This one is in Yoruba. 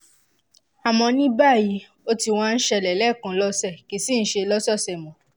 àmọ́ ní báyìí ó ti wá ń ṣẹlẹ̀ lẹ́ẹ̀kan lọ́sẹ̀ kìí sìí ṣe lọ́sọ̀ọ̀sẹ̀ mọ́